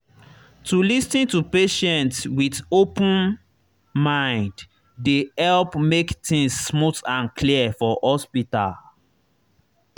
to lis ten to patient with open mind dey help make things smooth and clear for hospital.